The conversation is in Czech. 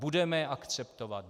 Budeme je akceptovat?